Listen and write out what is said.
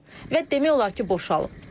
Və demək olar ki, boşalıb.